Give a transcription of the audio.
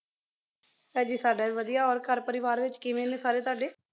ਹਾਂਜੀ ਸਾਡਾ ਵੀ ਵਾਦਿਯ ਹੋਰ ਘਰ ਪਰਿਵਾਰ ਵਿਚ ਕੇਵ੍ਯਨ ਨੀ ਸਾਰੀ ਤਵਾਡੀ